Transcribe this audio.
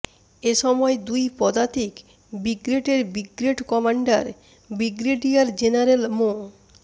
এ সময় দুই পদাতিক ব্রিগেডের ব্রিগেড কমান্ডার ব্রিগেডিয়ার জেনারেল মো